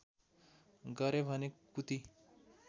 गरे भने कुती